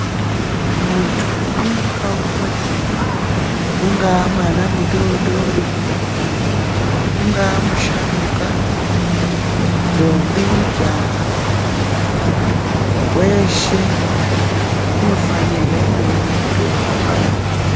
Muntu umwe naumwe ungava mwana mudodori ungava musharukwa ndombi majaha weshe unofanirwankuona mutombo urapike.